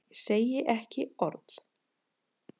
Ég segi ekki orð.